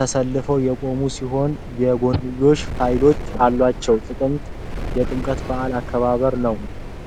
ተሰልፈው የቆሙ ሲሆን፣ የጎንዮሽ ፕሮፋይል አላቸው። የጥምቀት በዓል አከባበር new.